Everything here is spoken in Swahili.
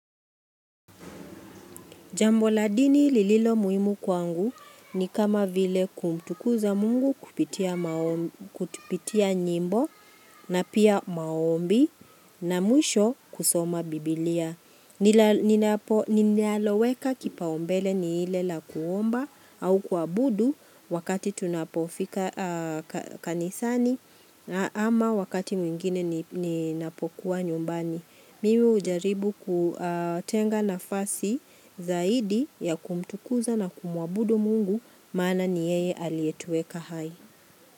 Jambo la dini lililo muhimu kwangu ni kama vile kumtukuza mungu kupitia nyimbo na pia maombi na mwisho kusoma bibilia. Ninaloweka kipaumbele ni ile la kuomba au kuabudu wakati tunapofika kanisani ama wakati mwingine ninapokuwa nyumbani. Mimi ujaribu kutenga nafasi zaidi ya kumtukuza na kumuabudu mungu maana ni yeye aliyetueka hai.